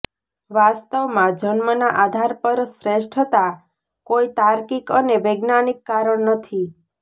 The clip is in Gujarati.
વાસ્તવમાં જન્મના આધાર પર શ્રેષ્ઠતા કોઇ તાર્કિક અને વૈજ્ઞાનિક કારણ નથી